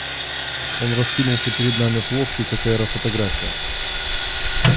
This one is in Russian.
он раскинулся перед нами плоский как аэрофотография